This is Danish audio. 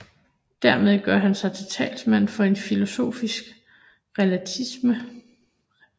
Dermed gør han sig til talsmand for en filosofisk relativisme